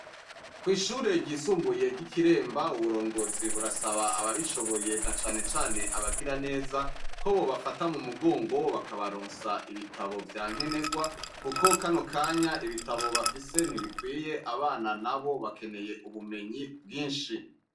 Kw'ishure ryisumbuye ry'ikiremba, uburongozi burasaba ababishoboye na cane cane abagiraneza , ko bobafata mu mugongo bakabaronsa ibitabo vya nkenerwa kuko kano kanya ibitabo bafise ntibikwiye, abana nabo bakeneye ubumenyi bwinshi .